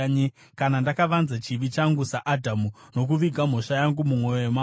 Kana ndakavanza chivi changu saAdhamu, nokuviga mhosva yangu mumwoyo mangu,